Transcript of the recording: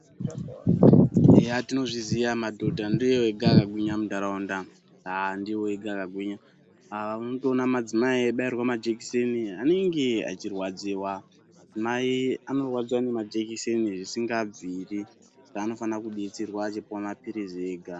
Eya tinozviziya madhodha ndiwo ega akagwinya muntaraunda ah ndiwo ega akagwinya unotona madzimai eibairwa majekiseni anenge echirwadziwa madzimai anorwadziwa nemajekiseni zvisingabviri saka anofana kudetserwa achipiwa mapirizi ega.